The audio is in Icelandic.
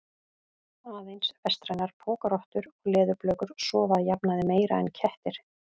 Aðeins vestrænar pokarottur og leðurblökur sofa að jafnaði meira en kettir.